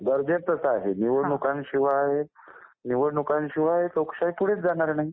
गरजेचंच आहे. निवडणुकांशिवाय निवडणुकांशिवाय लोकशाही पुढेच जाणार नाही.